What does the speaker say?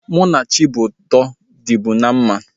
Mụ na Chidiuto dịbu na mma